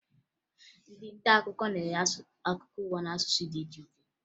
Ndị nta akụkọ na-enye akụkọ ụwa n'asụsụ dị iche iche